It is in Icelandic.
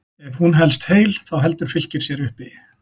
Ef hún helst heil þá heldur Fylkir sér uppi.